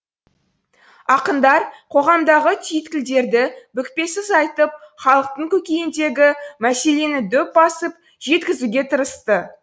ақындар қоғамдағы түйткілдерді бүкпесіз айтып халықтың көкейіндегі мәселені дөп басып жеткізуге тырысты